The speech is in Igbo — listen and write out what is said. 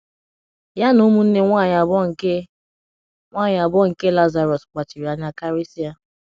Ya na ụmụnne nwanyị abụọ nke nwanyị abụọ nke Lazarọs kpachiri anya karịsịa.